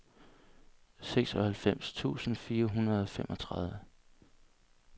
seksoghalvfems tusind fire hundrede og femogtredive